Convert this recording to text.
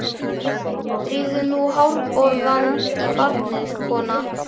Drífðu nú hárborðann í barnið, kona.